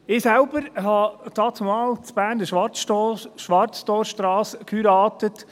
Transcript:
Ich selbst habe dannzumal an der Berner Schwarztorstrasse geheiratet.